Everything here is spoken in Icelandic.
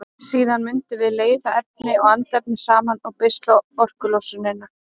Síðan mundum við leiða efni og andefni saman og beisla orkulosunina.